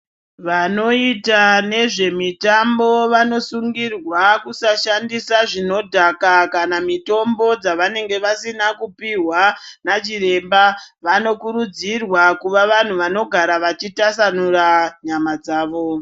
Vanoita nezvemitambo vanosungirwa kusashandisa zvinodhaka kana mitombo yavanenge vasina kupihwa nachiremba, vanokurudzirwa kuva vantu vanogara vachitasanura nyama dzavo.